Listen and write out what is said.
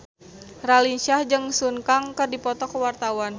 Raline Shah jeung Sun Kang keur dipoto ku wartawan